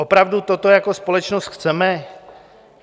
Opravdu toto jako společnost chceme?